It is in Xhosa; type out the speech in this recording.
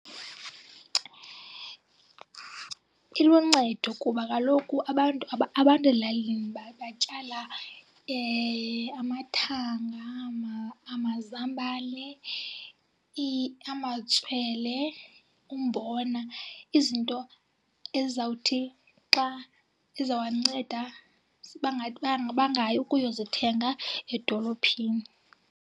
Iluncedo kuba kaloku abantu abantu ezilalini batyala amathanga, amazambane, amatswele, umbona. Izinto ezawuthi xa ezawanceda bangayi ukuyozithenga edolophini.